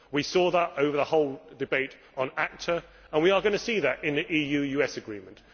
we saw that over the whole debate on ACTA, and we are going to see it in the EU US agreement.